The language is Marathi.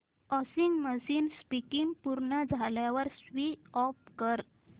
वॉशिंग मशीन स्पिन पूर्ण झाल्यावर स्विच ऑफ कर